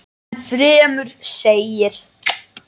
Enn fremur segir